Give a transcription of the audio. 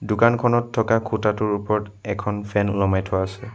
দোকানখনত থকা খুঁটাটোৰ ওপৰত এখন ফেন ওলমাই থোৱা আছে।